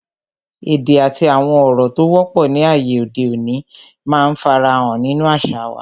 Èdè àti àwọn ọ̀rọ̀ tó wọ́pọ̀ ni ayé òde òní máa ń fara hàn nínú àṣà wa